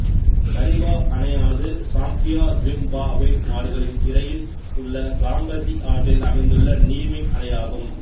Kariba அணையானது Zambia Zimbabwe நாடுகளின் இடையில் உள்ள சாம்பசி ஆற்றில் அமைந்துள்ள நீர்மின் அணையாகும்